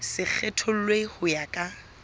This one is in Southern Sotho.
se kgethollwe ho ya ka